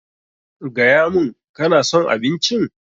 Gaya mun, ka na son abincin?